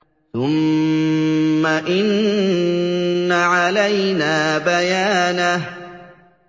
ثُمَّ إِنَّ عَلَيْنَا بَيَانَهُ